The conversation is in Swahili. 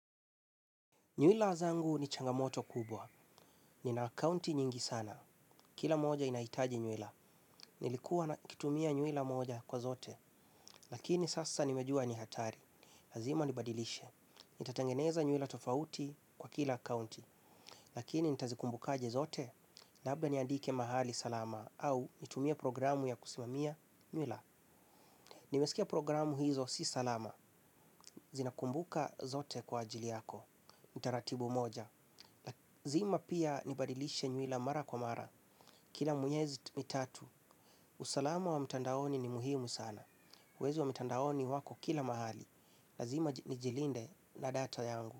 Nywila zangu ni changamoto kubwa. Nina akaunti nyingi sana. Kila moja inahitaji nywila. Nilikuwa nakitumia nywila moja kwa zote. Lakini sasa nimejua ni hatari. Lazima nibadilishe. Nitatengeneza nywila tofauti kwa kila akaunti. Lakini nitazikumbukaje zote? Labda niandike mahali salama au nitumie programu ya kusimamia nywila. Nimesikia programu hizo si salama, zinakumbuka zote kwa ajili yako, utaratibu mmoja. Lazima pia nibadilishe nywila mara kwa mara, kila miezi mitatu, usalama wa mtandaoni ni muhimu sana. Wezi wa mitandaoni wako kila mahali, lazima nijilinde na data yangu.